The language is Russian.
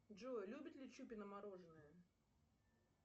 джой любит ли чупина мороженое